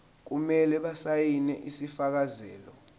kumele basayine isifakazelo